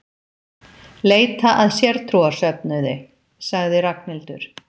Leita að sértrúarsöfnuði sagði Ragnhildur.